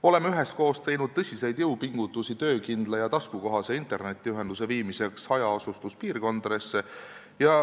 Oleme üheskoos teinud tõsiseid jõupingutusi töökindla ja taskukohase internetiühenduse viimiseks hajaasustuspiirkondadesse.